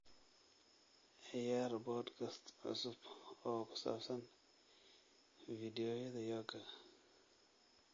ciyaar podcast cusub oo ku saabsan fiidiyowyada yoga